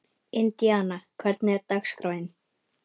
Indíana, hvernig er dagskráin?